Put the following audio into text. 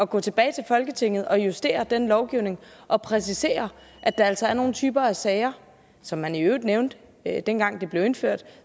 gå tilbage til folketinget og justere den lovgivning og præcisere at der altså er nogle typer af sager som man i øvrigt nævnte dengang det blev indført